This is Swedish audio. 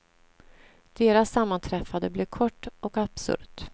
Deras sammanträffande blev kort och absurt.